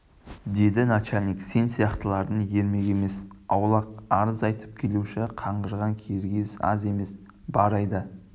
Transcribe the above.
деді начальник сен сияқтылардың ермегі емес аулақ арыз айтып келуші қаңғырған киргиз аз емес бар айда